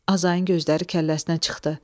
Azayın gözləri kəlləsinə çıxdı.